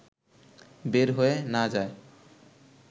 বের হয়ে না যায়